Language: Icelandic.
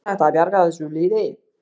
Er hægt að bjarga þessu liði?